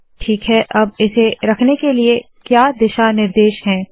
ठीक है अब इसे रखने के लिए क्या दिशा निर्देश है